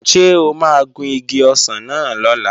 Ṣé o máa gun igi ọsàn náà lọ́la?